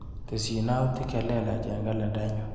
Tesyi yautik chelelach eng kalendainyu.